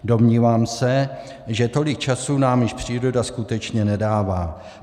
Domnívám se, že tolik času nám již příroda skutečně nedává.